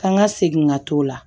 Kan ka segin ka t'o la